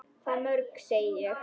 Hvað mörg, segi ég.